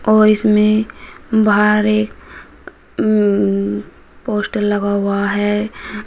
और इसमें बाहर एक उम् पोस्टर लगा हुआ है।